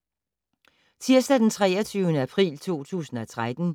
Tirsdag d. 23. april 2013